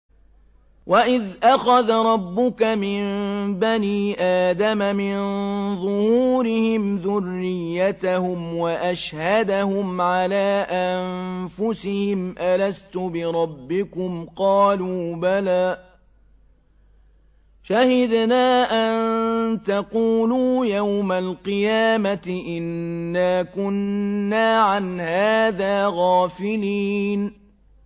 وَإِذْ أَخَذَ رَبُّكَ مِن بَنِي آدَمَ مِن ظُهُورِهِمْ ذُرِّيَّتَهُمْ وَأَشْهَدَهُمْ عَلَىٰ أَنفُسِهِمْ أَلَسْتُ بِرَبِّكُمْ ۖ قَالُوا بَلَىٰ ۛ شَهِدْنَا ۛ أَن تَقُولُوا يَوْمَ الْقِيَامَةِ إِنَّا كُنَّا عَنْ هَٰذَا غَافِلِينَ